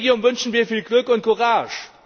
Dem Kollegium wünschen wir viel Glück und Courage.